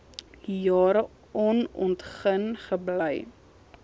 jare onontgin gebly